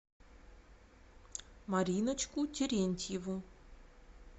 мариночку терентьеву